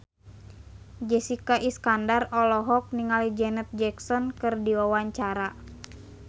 Jessica Iskandar olohok ningali Janet Jackson keur diwawancara